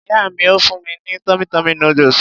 Ìyá mi ó fún mi ní tummy tummy noodles.